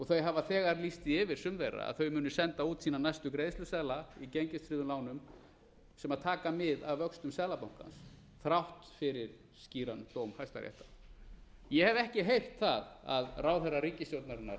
þau hafa þegar lýst því yfir sum þeirra að þau muni senda sína næstu greiðsluseðla í gengistryggðum lánum sem taka mið af vöxtum seðlabankans þrátt fyrir skýran dóm hæstaréttar ég hef ekki heyrt það að ráðherra ríkisstjórnarinnar ætli eitthvað